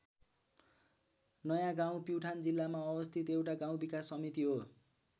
नयाँ गाउँ प्युठान जिल्लामा अवस्थित एउटा गाउँ विकास समिति हो।